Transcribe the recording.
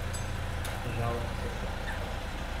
Žal so se.